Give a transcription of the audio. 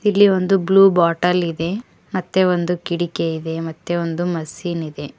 ಇಲ್ಲಿ ಒಂದು blue bottle ಇದೆ ಮತ್ತೆ ಒಂದು ಕಿಟಕಿ ಇದೆ ಮತ್ತೆ ಒಂದು ಮಷಿನ್ ಇದೆ.